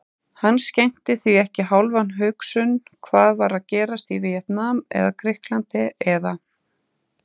Hann skenkti því ekki hálfa hugsun hvað var að gerast í Víetnam eða Grikklandi eða